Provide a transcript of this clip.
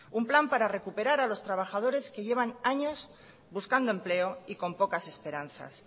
un plan para recuperas los trabadores que llevan años buscando empleo y con pocas esperanzas